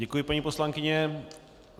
Děkuji, paní poslankyně.